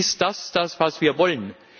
Ist dies das, was wir wollen?